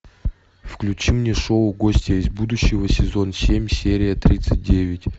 включи мне шоу гостья из будущего сезон семь серия тридцать девять